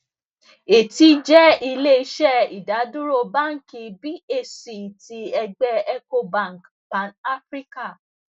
eti jẹ ile iṣẹ idaduro banki bhc ti ẹgbẹ ecobank panafrican